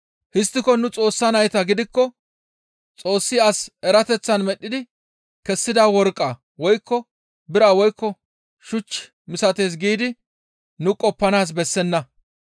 «Histtiko nu Xoossa nayta gidikko Xoossi as erateththan medhdhi kessida worqqa woykko bira woykko shuch misatees giidi nu qoppanaas bessenna.